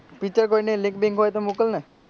picture કોઇની link બિંક હોય તો મોકલને.